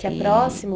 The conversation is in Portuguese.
Que é próximo?